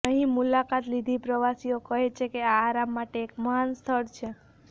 અહીં મુલાકાત લીધી પ્રવાસીઓ કહે છે કે આ આરામ માટે એક મહાન સ્થળ છે